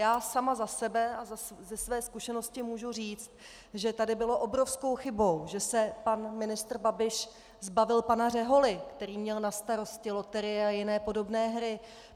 Já sama za sebe a ze své zkušenosti můžu říct, že tady bylo obrovskou chybou, že se pan ministr Babiš zbavil pana Řeholy, který měl na starosti loterie a jiné podobné hry.